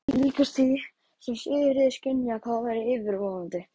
Það var líkast því sem Sigríður skynjaði hvað væri yfirvofandi.